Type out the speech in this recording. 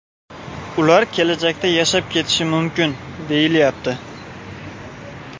Ular kelajakda yashab ketishi mumkin, deyilyapti.